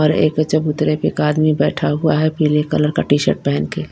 और एक चबूतरे पे एक आदमी बैठा हुआ है पीले कलर का टी-शर्ट पहन के।